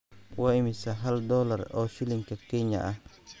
Waa imisa hal dollar oo shilinka Kenya ah?